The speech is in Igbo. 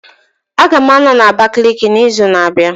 Aga m anọ na Abakiliki n'izu na-abịa